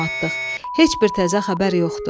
Heç bir təzə xəbər yoxdur.